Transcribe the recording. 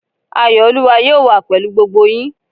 Ayọ̀ olúwa yóò wà pèlú gbogbo yín